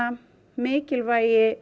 mikilvægi